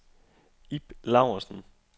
Ib Laursen